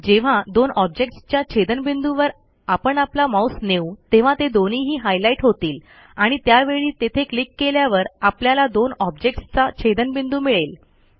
जेव्हा दोन ऑब्जेक्ट्सच्या छेदनबिंदूवर आपण आपला माऊस नेऊ तेव्हा ते दोन्हीही हायलाईट होतील आणि त्यावेळी तेथे क्लिक केल्यावर आपल्याला दोन ऑब्जेक्ट्सचा छेदनबिंदू मिळेल